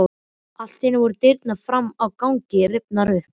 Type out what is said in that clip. Allt í einu voru dyrnar fram á ganginn rifnar upp.